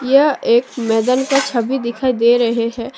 यह एक मैदान का छवि दिखाई दे रहे हैं।